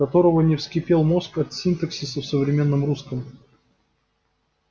которого не вскипел мозг от синтаксиса в современном русском